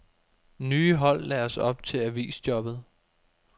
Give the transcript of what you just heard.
Nye hold læres op til avisjobbet.